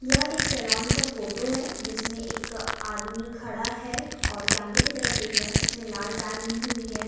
यह एक सैलोन का फोटो है। जिसमे एक आदमी खड़ा है और कैमरे की तरफ देख रहा है। उसने लाल बैग ली हुई है।